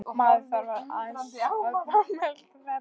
Maður þarf nú aðeins að fá að melta þetta.